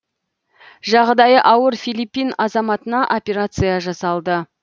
жағдайы ауыр филиппин азаматына операция жасалды